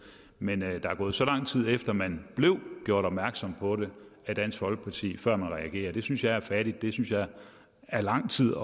men at der er gået så lang tid efter at man blev gjort opmærksom på det af dansk folkeparti før man reagerede synes jeg er fattigt det synes jeg er lang tid